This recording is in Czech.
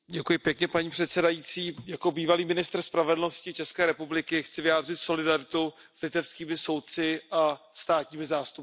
Paní předsedající, jako bývalý ministr spravedlnosti České republiky chci vyjádřit solidaritu s litevskými soudci a státními zástupci.